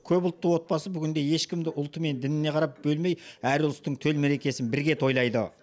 көпұлтты отбасы бүгінде ешкімді ұлты мен дініне қарап бөлмей әр ұлыстың төл мерекесін бірге тойлайды